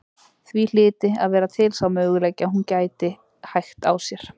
Því hlyti að vera til sá möguleiki að hún gæti hægt á sér.